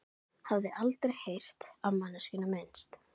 Hafði aldrei heyrt á manneskjuna minnst.